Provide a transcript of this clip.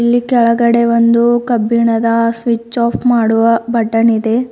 ಇಲ್ಲಿ ಕೆಳಗಡೆ ಒಂದು ಕಬ್ಬಿಣದ ಸ್ವಿಚ್ ಆಫ್ ಮಾಡುವ ಬಟನ್ ಇದೆ.